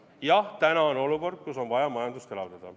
Jah, täna on olukord, kus on vaja majandust elavdada.